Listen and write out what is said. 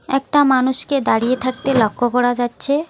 একটা মানুষকে দাঁড়িয়ে থাকতে লক্ষ্য করা যাচ্ছে।